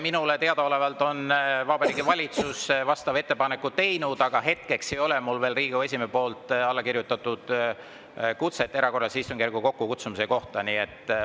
Minule teadaolevalt on Vabariigi Valitsus vastava ettepaneku teinud, aga hetkeks ei ole mul veel Riigikogu esimehe alla kirjutatud kutset kutsuda kokku erakorraline istungjärk.